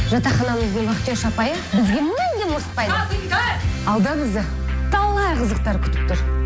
жатахананың вахтерша апайы бізге мүлдем ұрыспайды алда бізді талай қызықтар күтіп тұр